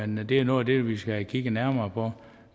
men det er noget af det vi skal have kigget nærmere på